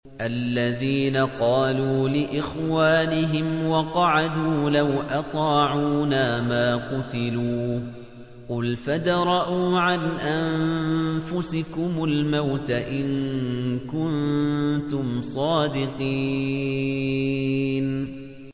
الَّذِينَ قَالُوا لِإِخْوَانِهِمْ وَقَعَدُوا لَوْ أَطَاعُونَا مَا قُتِلُوا ۗ قُلْ فَادْرَءُوا عَنْ أَنفُسِكُمُ الْمَوْتَ إِن كُنتُمْ صَادِقِينَ